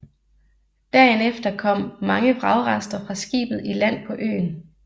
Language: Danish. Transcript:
Dagen efter kom mange vragrester fra skibet i land på øen